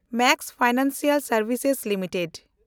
Max financial ᱥᱮᱱᱰᱵᱷᱤᱥ limited